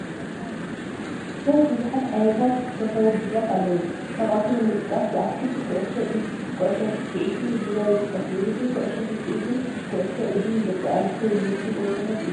ስፖርት፡-ብዙሓት ዓይነታት ስፖርታዊ ውድድራት ኣለው፡፡ ካብኣቶም ንምጥቃስ ዝኣክል ኩዕሶ ኢድ፣ ኩዕሶ ስኪዔትን ጉያን ይጥቀሱ፡፡ ውድድር ኩዕሶ ስኪዔትን ኩዕሶ ኢድን ንደቂ ኣንስትዮ ዝምችው ፀወታታት እዮም፡፡